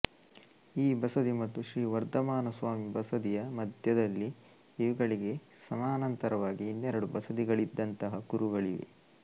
ಈ ಬಸದಿ ಮತ್ತು ಶ್ರೀ ವರ್ಧಮಾನ ಸ್ವಾಮಿ ಬಸದಿಯ ಮಧ್ಯದಲ್ಲಿ ಇವುಗಳಿಗೆ ಸಮಾನಾಂತರವಾಗಿ ಇನ್ನೆರಡು ಬಸದಿಗಳಿದ್ದಂತಹ ಕುರುಹುಗಳಿವೆ